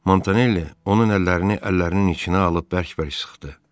Montanelli onun əllərini əllərinin içinə alıb bərk-bərk sıxdı.